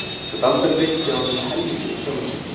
Hann gat aldrei reitt sig á nema helminginn af sjálfum sér.